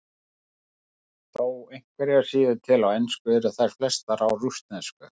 Þó einhverjar séu til á ensku eru þær flestar á rússnesku.